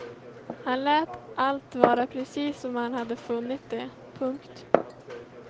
Han lät allt vara precis som han hade funnit det. punkt